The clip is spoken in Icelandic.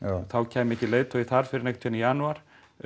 þá kæmi ekki leiðtogi þar fyrr en einhvern tímann í janúar